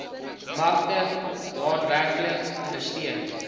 markte daadwerklik ondersteun